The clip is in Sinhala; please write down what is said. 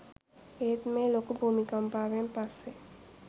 ඒත් මේ ලොකු භූමිකම්පාවෙන් පස්සේ